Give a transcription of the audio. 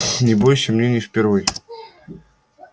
не бойся мне не впервой